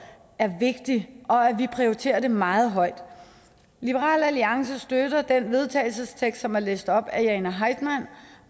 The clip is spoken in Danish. er vigtigt og at vi prioriterer det meget højt liberal alliance støtter den vedtagelsestekst som er læst op af jane heitmann